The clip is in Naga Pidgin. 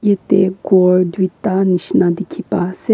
yatae khor tuita nishina dikhipaiase.